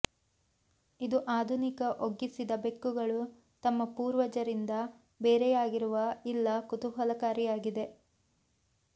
ಇದು ಆಧುನಿಕ ಒಗ್ಗಿಸಿದ ಬೆಕ್ಕುಗಳು ತಮ್ಮ ಪೂರ್ವಜರಿಂದ ಬೇರೆಯಾಗಿರುವ ಇಲ್ಲ ಕುತೂಹಲಕಾರಿಯಾಗಿದೆ